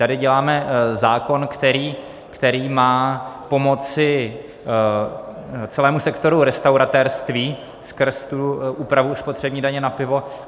Tady děláme zákon, který má pomoci celému sektoru restauratérství skrz tu úpravu spotřební daně na pivo.